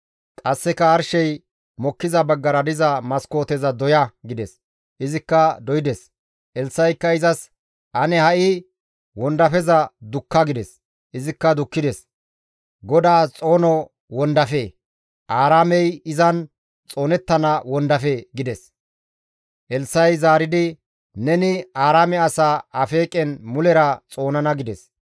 Qasseka, «Arshey mokkiza baggara diza maskooteza doya» gides; izikka doydes; Elssa7ikka izas, «Ane ha7i wondafeza dukka» gides; izikka dukkides. «GODAAS xoono wondafe! Aaraamey izan xoonettana wondafe!» gides. Elssa7i zaaridi, «Neni Aaraame asaa Afeeqen mulera xoonana» gides.